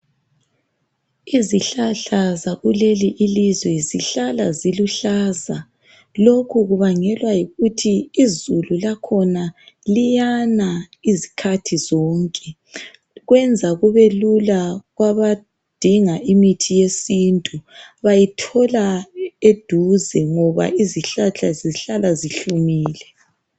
Izihlahla zakuleli ilizwe zihlala ziluhlaza lokhu kubangelwa yikuthi izulu lakhona liyana izikhathi zonke kwenza kubelula kwabadinga imithi yesintu bayithola eduze ngoba izihlahla zihlala zihiumile.